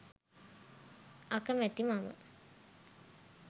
අකමැති මම